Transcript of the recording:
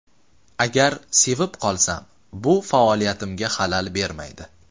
Agar sevib qolsam, bu faoliyatimga xalal bermaydi.